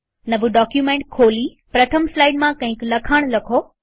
નવું ડોક્યુમેન્ટ ખોલીપ્રથમ સ્લાઈડમાં કઈક લખાણ લખો